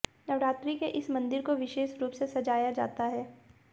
नवरात्रि में इस मंदिर को विशेष रुप से सजाया जाता है